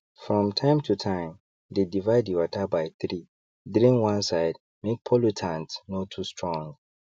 from time to timedey divide the water by 3drain 1 side make pollutants no too strong